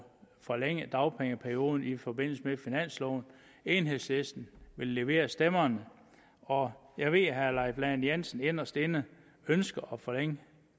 forlænget dagpengeperioden i forbindelse med finansloven enhedslisten ville levere stemmerne og jeg ved at herre leif lahn jensen inderst inde ønsker at forlænge